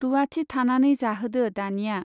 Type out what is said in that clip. रुवाथि थानानै जाहोदो दानिया।